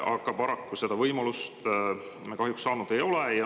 Paraku seda võimalust me saanud ei ole.